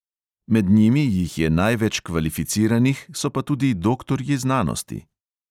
Med njimi jih je največ kvalificiranih, so pa tudi doktorji znanosti.